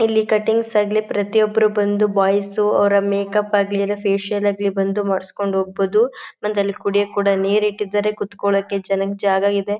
ಇಲ್ಲಿ ಕಟ್ಟಿಂಗ್ಸ್ ಆಗ್ಲಿ ಪ್ರತಿಯೊಬ್ಬರೂ ಬಂದು ಬಾಯ್ಸ್ ಉ ಅವರ ಮೇಕ್ಅಪ್ ಆಗ್ಲಿ ಫೇಷಿಯಲ್ ಆಗ್ಲಿ ಬಂದು ಮಾಡ್ಸ್ಕೊಂಡ್ ಹೋಗ್ಬೋದು. ಮತ್ತೆ ಅಲ್ಲಿ ಕುಡಿಯಕ್ಕೆ ಕೂಡ ನೀರು ಇಟ್ಟಿದ್ದಾರೆ. ಕೂತುಕೊಳ್ಳಕ್ಕೆ ಜನಕ್ ಜಾಗ ಇದೆ.